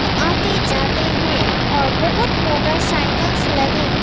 वह आते जाते हुए और बहोत मोटरसाइकल्स लगे--